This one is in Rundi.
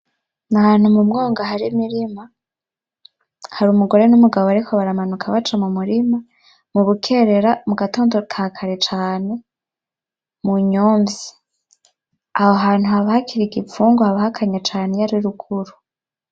N'ahantu mumwonga hari imirima, hari umugore n'umugabo bariko baranabuka baca mumurima, murukerera mugatondo ka kare cane munyomvyi, aho hantu haba bakiri igipfungu haba hakanye cane iyo ari ruguru .